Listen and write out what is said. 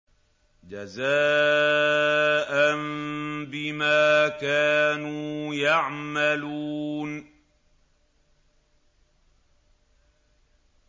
جَزَاءً بِمَا كَانُوا يَعْمَلُونَ